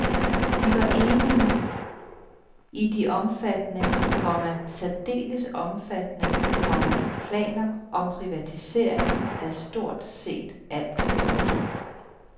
De var enige i de omfattende, komma særdeles omfattende, komma planer om privatisering af stort set alt. punktum